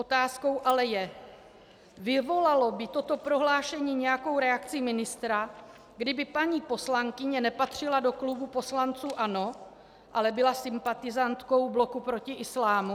Otázkou ale je: Vyvolalo by toto prohlášení nějakou reakci ministra, kdyby paní poslankyně nepatřila do klubu poslanců ANO, ale byla sympatizantkou Bloku proti islámu?